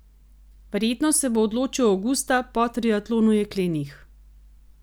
Verjetno se bo odločil avgusta po triatlonu jeklenih.